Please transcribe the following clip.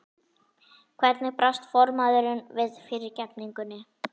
Hvernig brást formaðurinn við fyrirgefningunni?